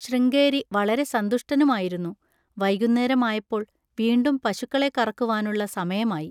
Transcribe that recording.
ശൃംഗേരി വളരെ സന്തുഷ്ടനുമായിരുന്നു. വൈകുന്നേരമായപ്പോൾ വീണ്ടും പശുക്കളെ കറക്കുവാനുള്ള സമയമായി.